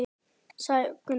sagði Gunnar.